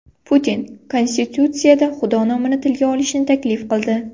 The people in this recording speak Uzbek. Putin Konstitutsiyada Xudo nomini tilga olishni taklif qildi.